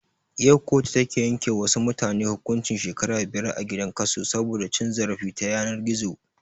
Yau kotu ta yanke wa wasu mutane hukuncin shekara biyar a gidan kaso saboda cin zarafi ta yanar gizo